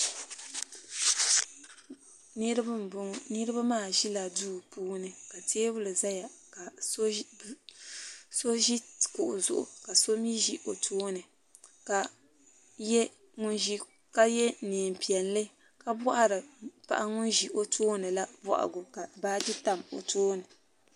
Niriba m boŋɔ niriba maa ʒila duu puuni ka teebuli zaya ka so ʒi kuɣu zuɣu ka so mee ʒi o tooni ka ye niɛn'piɛlli ka bohari paɣa ŋun ʒi o tooni la bohagu ka baaji tam o tooni.